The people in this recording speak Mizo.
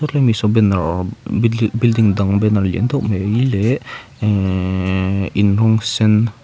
hemi saw banner building building dang banner lian tâwk mai leh ehhh inhung sen.